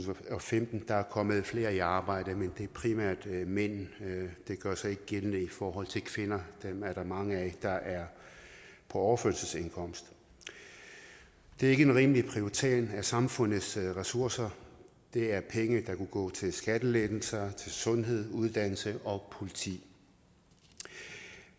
og femten er kommet flere i arbejde men det er primært mænd det gør sig ikke gældende for kvinder dem er der mange af der er på overførselsindkomst det er ikke en rimelig prioritering af samfundets ressourcer det er penge der kunne gå til skattelettelser til sundhed uddannelse og politiet